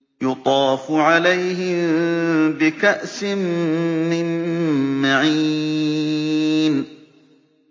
يُطَافُ عَلَيْهِم بِكَأْسٍ مِّن مَّعِينٍ